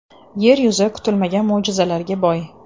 Yer yuzi kutilmagan mo‘jizalarga boy.